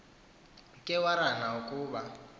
ke warana ukoba